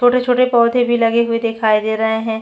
छोटे-छोटे पौधे भी लगे हुए दिखाई दे रही है।